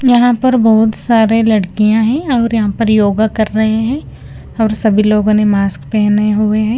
यहां पर बहोत सारे लड़कियां हैं और यहां पर योगा कर रहे हैं और सभी लोगों ने मास्क पेहने हुएं हैं।